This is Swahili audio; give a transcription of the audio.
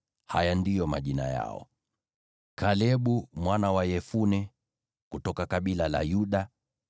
Haya ndiyo majina yao: “Kalebu mwana wa Yefune, kutoka kabila la Yuda;